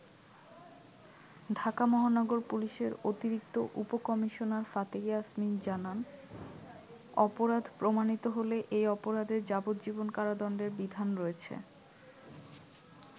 ঢাকা মহানগর পুলিশের অতিরিক্ত উপ কমিশনার ফাতিহা ইয়াসমিন জানান, অপরাধ প্রমাণিত হলে এই অপরাধে যাবজ্জীবন কারাদণ্ডের বিধান রয়েছে।